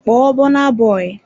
Call Burna Boy!